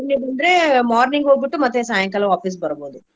ಅಂದ್ರೆ morning ಹೋಗ್ಬಿಟ್ಟು ಮತ್ತೆ ಸಾಯಂಕಾಲ ವಾಪಾಸ್ ಬರ್ಬಹುದು.